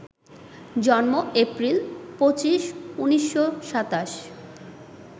জন্ম এপ্রিল ২৫, ১৯২৭